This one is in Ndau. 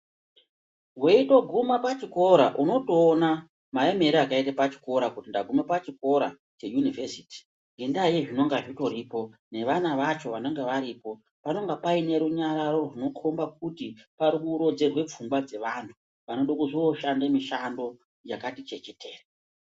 Weitoguma pachikora unotoona maemera akaita pachikora kuti ndaguma pachikora cheyunivhesiti, ngendaa yezvinenge zvingoripo, nevana vacho vanenge varipo. Panenge paine runyararo rinokhomba kuti parikurodzerwe pfungwa dzevana vanode kuzoshanda mishando yakati chechetere.